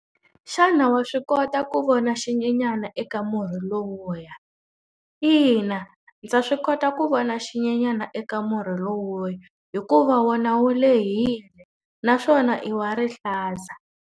Xana wa swi kota ku vona xinyenyana eka murhi lowuya? Ina, ndza swi kota ku vona zinyenyana eka murhi lowuya hikuva wona wu lehile naswona i wa rihlaza.